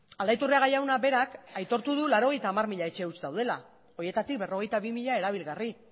aldaiturriaga jaunak berak aitortu du laurogeita hamar mila etxe huts daudela horietatik berrogeita bi mila erabilgarri